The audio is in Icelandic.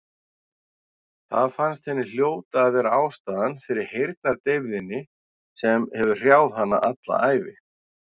Það fannst henni hljóta að vera ástæðan fyrir heyrnardeyfðinni sem hefur hrjáð hana alla ævi.